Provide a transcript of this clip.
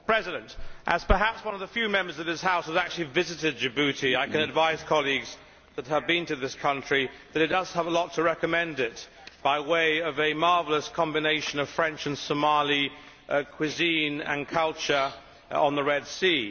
Mr President, as perhaps one of the few Members of this House who has actually visited Djibouti, I can advise colleagues that, having been to this country, it does have a lot to recommend it, by way of a marvellous combination of French and Somali cuisine and culture on the Red Sea.